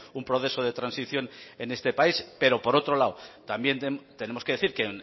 un proceso de transición en este país pero por otro lado también tenemos que decir que